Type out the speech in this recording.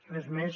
res més